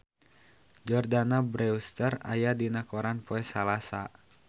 Jordana Brewster aya dina koran poe Salasa